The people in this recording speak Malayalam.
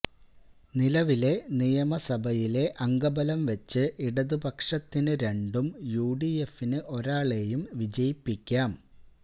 നിലവിലെ നിയമസഭയിലെ അംഗബലം വച്ച് ഇടതുപക്ഷത്തിന് രണ്ടും യുഡിഎഫിന് ഒരാളേയും വിജയിപ്പിക്കാം